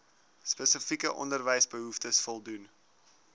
spesifieke onderwysbehoeftes voldoen